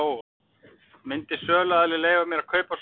Myndi söluaðili leyfa mér að kaupa svo mikið?